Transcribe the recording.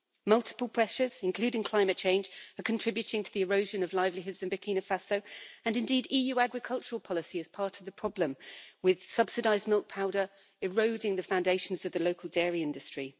Multiple pressures, including climate change, are contributing to the erosion of livelihoods in Burkina Faso and indeed EU agricultural policy is part of the problem, with subsidised milk powder eroding the foundations of the local dairy industry.